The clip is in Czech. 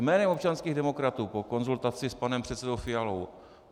Jménem občanských demokratů po konzultaci s panem předsedou Fialou.